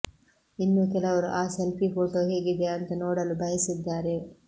ಇನ್ನೂ ಕೆಲವರು ಆ ಸೆಲ್ಫಿ ಫೋಟೋ ಹೇಗಿದೆ ಅಂತ ನೋಡಲು ಬಯಸಿದ್ದಾರೆ